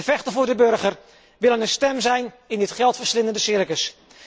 We vechten voor de burger, willen een stem zijn in dit geldverslindende circus.